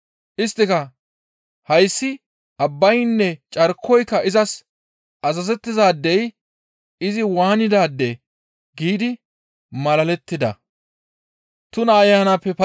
Isttika, «Hayssi abbaynne carkoyka izas azazettizaadey izi waanidaadee?» giidi malalettida.